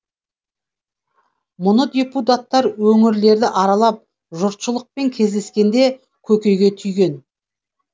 мұны депутаттар өңірлерді аралап жұртшылықпен кездескенде көкейге түйген